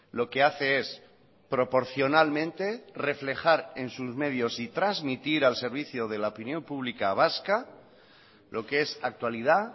lo que hace es proporcionalmente reflejar en sus medios y transmitir al servicio de la opinión pública vasca lo que es actualidad